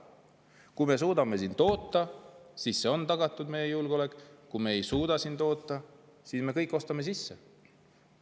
Kui me suudame siin toota, siis on tagatud meie julgeolek, kui me ei suuda siin toota, siis me ostame kõik sisse.